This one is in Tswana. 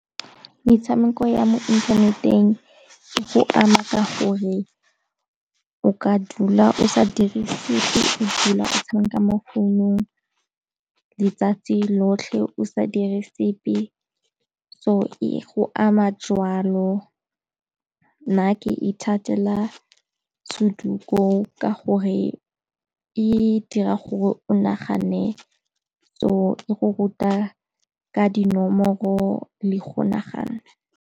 Metshameko ya mo inthaneteng e go ama ka gore o ka dula o sa dire sepe, o dula o tshameka mo founung letsatsi lotlhe o sa dire sepe, so e go ama jalo. Nna ke ithatela Soduku ka gore e dira gore o nagane so e go ruta ka dinomoro le go nagana.